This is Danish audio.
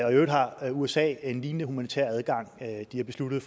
øvrigt har usa en lignende humanitær adgang de har besluttet